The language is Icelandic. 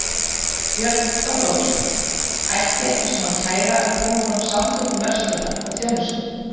Björn Þorláksson: Ætti ekki svona kæra að koma frá Samtökum verslunar og þjónustu?